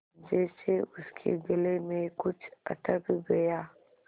जैसे उसके गले में कुछ अटक गया